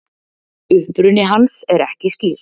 uppruni hans er ekki skýr